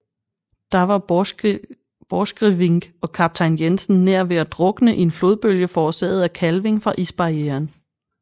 Der var Borchgrevink og kaptajn Jensen nær ved at drukne i en flodbølge forårsaget af kalving fra isbarrieren